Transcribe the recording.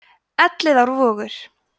elliðaárvogur